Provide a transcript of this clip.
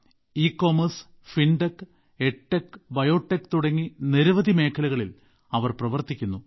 e-commerce fintech edtech biotech തുടങ്ങി നിരവധി മേഖലകളിൽ അവർ പ്രവർത്തിക്കുന്നു